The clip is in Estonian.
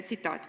Tsitaat: "...